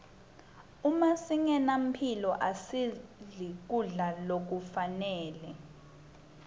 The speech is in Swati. uma singenamphilo asidli kudla lokufanele